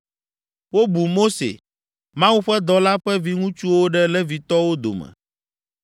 Wobu Mose, Mawu ƒe dɔla ƒe viŋutsuwo ɖe Levitɔwo dome.